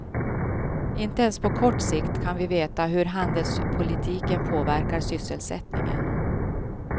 Inte ens på kort sikt kan vi veta hur handelspolitiken påverkar sysselsättningen.